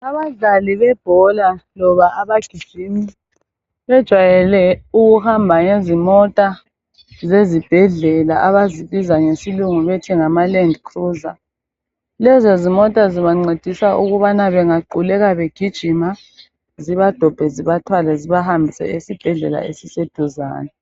Abadlali bebhola loba abagijimi bejayele ukuhamba ngezimota zezibhedlela abazibiza ngesilungu bethi ngamaland cruiser lezo zimota zibancedisa ukubana bengaquleka begijima zibadombe zibathwale zibahambise ezibhedlela esiseduzane.